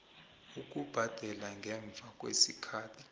ukubhadela ngemva kwesikhathi